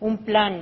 un plan